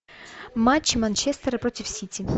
матч манчестера против сити